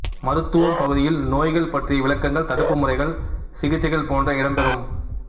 மருத்துவம் பகுதியில் நோய்கள் பற்றிய விளக்கங்கள் தடுப்புமுறைகள் சிகிச்சைகள் போன்றன இடம் பெறும்